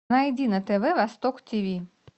найди на тв восток тиви